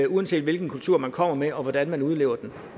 uanset hvilken kultur man kommer med og hvordan man udlever den